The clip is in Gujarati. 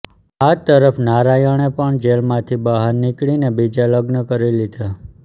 આ તરફ નારાયણે પણ જેલમાંથી બહાર નીકળીને બીજા લગ્ન કરી લીધા